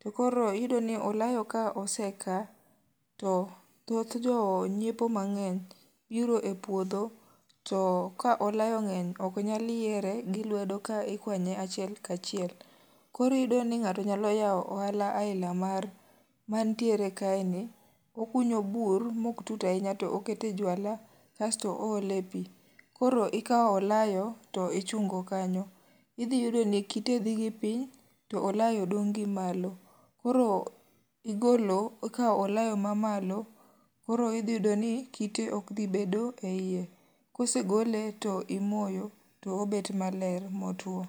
To koro iyudo ni olayo ka osekaa, to thoth jo nyiepo mangény biro e puodho, to ka olayo ngény ok nyal yiere gi lwedo ka ikwany achiel ka achiel. Koro iyudo ni ngáto nyalo yawo ohala, aina mar mantiere kae ni. Okunyo bur, ma ok tut ahinya to okete juala, kasto oole pi. Koro ikawo olayo, to ichungo kanyo. Idhi yudo ni kite dhi gi piny, to olayo dong' gimalo koro igolo, ikawo olayo ma malo, koro idhi yudo ni, kite ok dhi bedo e iye. Kosegole to imoyo to obet maler, mo two.